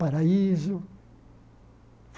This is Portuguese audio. Paraíso.